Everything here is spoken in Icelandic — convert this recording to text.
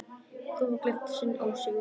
Þúfa gleypti sinn ósigur.